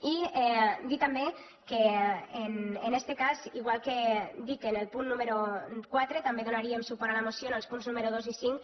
i dir també que en este cas igual que dic en el punt número quatre també donaríem suport a la moció en els punts números dos i cinc